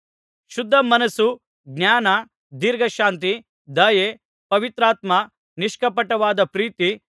ಶುದ್ಧಮನಸ್ಸು ಜ್ಞಾನ ದೀರ್ಘಶಾಂತಿ ದಯೆ ಪವಿತ್ರಾತ್ಮ ನಿಷ್ಕಪಟವಾದ ಪ್ರೀತಿ